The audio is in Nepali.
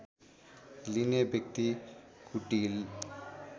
लिने व्यक्ति कुटिल